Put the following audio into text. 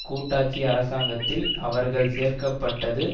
கூட்டாட்சி அரசாங்கத்தில் அவர்கள் சேர்க்க பட்டது